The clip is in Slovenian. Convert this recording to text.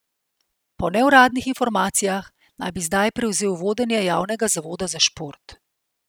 Po neuradnih informacijah naj bi zdaj prevzel vodenje javnega zavoda za šport.